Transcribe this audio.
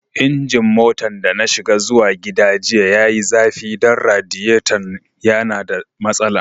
Injin motan da na shiga zuwa gida jiya ya yi zafi dan radiyaton ya na da masala.